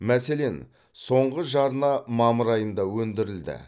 мәселен соңғы жарна мамыр айында өндірілді